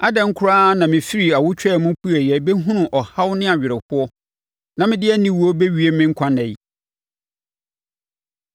Adɛn koraa na mefirii awotwaa mu pueɛ bɛhunuu ɔhaw ne awerɛhoɔ na mede aniwuo rebɛwie me nkwa nna yi?